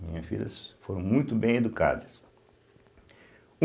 Minhas filhas foram muito bem educadas.